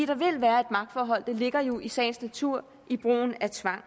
der vil være et magtforhold det ligger jo i sagens natur med brugen af tvang